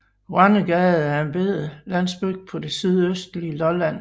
Grønnegade er en lille landsby på det sydøstlige Lolland